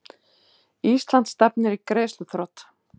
Ísland stefnir í greiðsluþrot